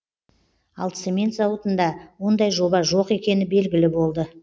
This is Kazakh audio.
ал цемент зауытында ондай жоба жоқ екені белгілі болды